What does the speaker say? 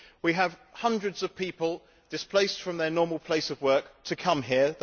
We have hundreds of people displaced from their normal places of work to come here.